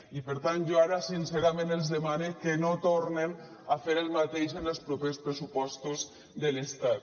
i per tant jo ara sincerament els demane que no tornen a fer el mateix amb els propers pressupostos de l’estat